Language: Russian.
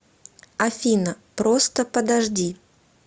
афина просто подожди